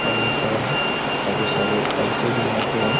आदमी खड़ा है काफी सारी बाइके भी यहाँ पे है।